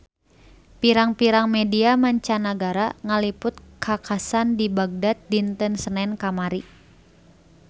Pirang-pirang media mancanagara ngaliput kakhasan di Bagdad dinten Senen kamari